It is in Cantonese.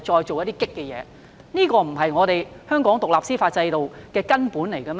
這不是衝擊香港獨立司法制度的根本嗎？